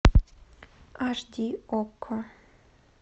аш ди окко